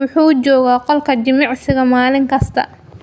Wuxuu joogaa qolka jimicsiga maalin kasta.